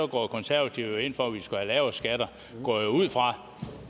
går konservative jo ind for at vi skal have lavere skatter jeg går ud fra